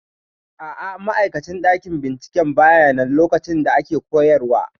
A'a, ma'aikacin ɗakin binciken bayanan lokacin da ake koyarwa